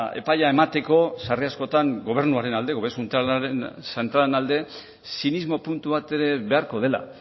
epaia emateko sarri askotan gobernuaren alde gobernu zentralaren alde zinismo puntu bat ere beharko dela